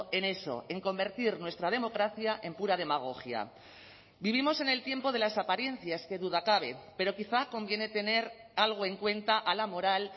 en eso en convertir nuestra democracia en pura demagogia vivimos en el tiempo de las apariencias qué duda cabe pero quizá conviene tener algo en cuenta a la moral